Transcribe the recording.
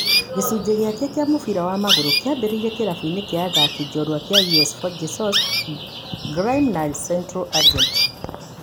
Gĩcunjĩ gĩake kĩa mũbira wa magũrũ kĩambĩrĩirie kĩlafuinĩ kĩa athaki jorua kĩa US Forgy-Sous, Grime na Central Agenti.